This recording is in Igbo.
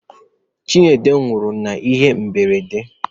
Chinedu nwuru n'ihe mberede.